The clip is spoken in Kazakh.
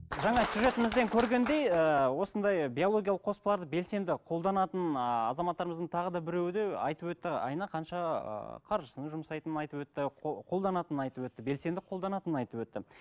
жаңа сюжетімізден көргендей ііі осындай биологиялық қоспаларды белсенді қолданатын ыыы азаматтарымыздың тағы да біреуі де айтып өтті айына қанша ыыы қаржысын жұмсайтынын айтып өтті қолданатынын айтып өтті белсенді қолданатынын айтып өтті